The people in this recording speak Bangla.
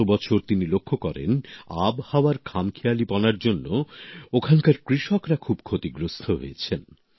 গতবছর তিনি লক্ষ্য করেন আবহাওয়ার খামখেয়ালীপনার জন্য ওখানকার কৃষকরা খুব ক্ষতিগ্রস্থ হয়েছেন